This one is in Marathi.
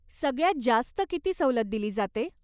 सगळ्यात जास्त किती सवलत दिली जाते.